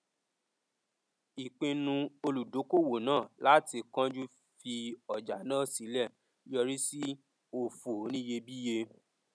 ìpinnu olùdókòwò náà láti kánjú fi ọjà náà sílẹ yọrí sí òfò oníyebíye